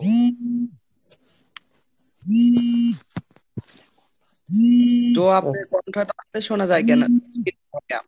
তো শোনা যায় কেন?